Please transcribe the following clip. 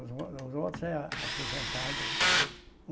Os o os outros é aposentado.